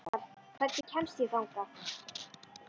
Pálmar, hvernig kemst ég þangað?